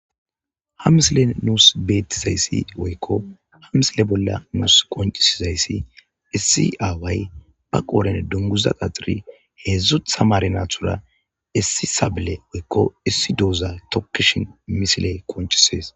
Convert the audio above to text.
Ha msile nuus beettizayssi woykko hamsile bolla nuus qoncisizayssi issi aaway ba qooren dunguza qaxiri heedzdzut samare naathura issi sable woykko issi douza tokishin misile koncisees.